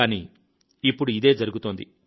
కానీ ఇప్పుడు ఇదే జరుగుతోంది